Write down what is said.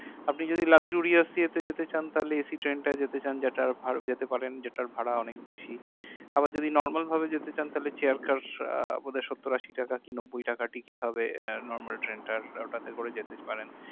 আপনি যদি luxurious ইয়ে তে যেতে চান তাহলে ACtrain টাই যেতে চান যেটা ভার যেতে পারেন যেটার ভাড়া অনেক বেশি আবার যদি normal ভাবে যেতে চান তাহলে chair car আহ বোধাই সত্তর আশি টাকা কিংবা কুড়ি কাটা ticket হবে আহ normal train টার ওটাতে করে যেতে পারেন